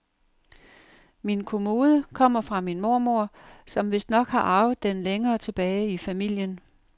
Min kommode kommer fra min mormor, som vistnok har arvet den længere tilbage i familien.